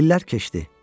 İllər keçdi.